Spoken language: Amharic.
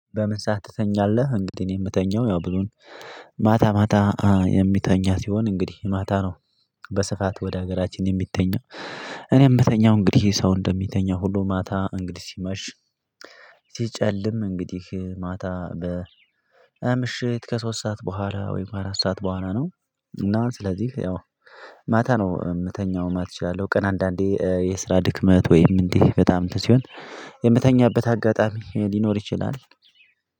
በምን ሰዓት ትተኛለህ? እንግዲህ እኔ የምተኛው ያው ብዙን ማታ ማታ የሚተኛ ሲሆን እንግዲህ ማታ ነው። በስፋት ወደ ሀገራችን የሚተኛው እኔ የምተኛው እንግዲህ ይሄ ሰው እንደሚተኛው ሁሉ ማታ እንግዲህ ሲመሽ ሲጨልም እንግዲህ ማታ በ ምሽት ከሶስት ሰዓት በኋላ ወይም አራት ሰዓት በኋላ ነው። እና ስለዚህ ማታ ነው የምተኛው ማት እችላለሁ ቀን አንዳንዴ የስራ ድክመት ወይም እንዲህ በጣም እንትን ሲሆን የምተኛበት አጋጣሚ ሊኖር ይችላል።